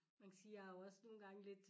Man kan sige jeg er jo også nogle gange lidt